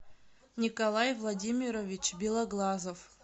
николай владимирович белоглазов